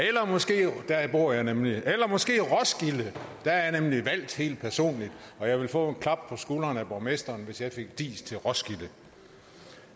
der bor jeg nemlig eller måske til roskilde der er jeg nemlig valgt helt personligt og jeg ville få klap på skulderen af borgmesteren hvis jeg fik diis til roskilde